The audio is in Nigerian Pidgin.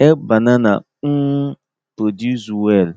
help banana um produce well